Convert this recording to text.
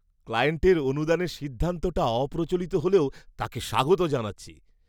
ক্লায়েন্টের অনুদানের সিদ্ধান্তটা অপ্রচলিত হলেও তাকে স্বাগত জানাচ্ছি।